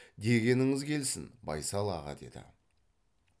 дегеніңіз келсін байсал аға деді